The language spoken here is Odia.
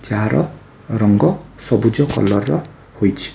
ଯାହାର ରଙ୍ଗ ସବୁଜ କଲର୍‌ ର ହୋଇଛି।